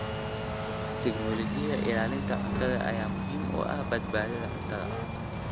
Tignoolajiyada ilaalinta cuntada ayaa muhiim u ah badbaadada cuntada.